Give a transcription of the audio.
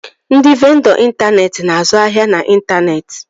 Ndị vendọ intaneeti na-azụ ahịa n'intaneeti